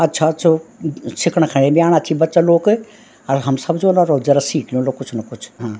अच्छा-अच्छौं सिखणा खै भी आणा छी बच्चा लोक अर हम सब जौला अर वख जरा सीख ल्युला कुछ न कुछ हां।